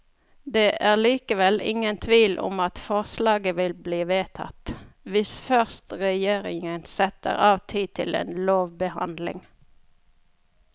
Det er likevel ingen tvil om at forslaget vil bli vedtatt, hvis først regjeringen setter av tid til en lovbehandling.